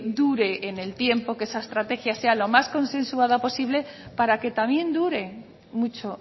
dure en el tiempo que esa estrategia sea lo más consensuada posible para que también dure mucho